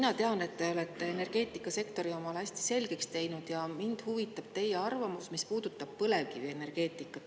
Ma tean, et te olete energeetikasektori omale hästi selgeks teinud, ja mind huvitab teie arvamus, mis puudutab põlevkivienergeetikat.